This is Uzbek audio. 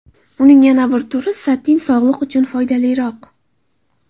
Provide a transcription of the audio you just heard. Uning yana bir turi satin sog‘liq uchun foydaliroq.